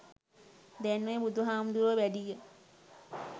දැන් ඔය බුදු හාමුදුරුවො වැඩිය